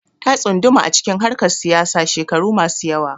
Ta tsunduma acikin harkar siyasa shekaru masu yawa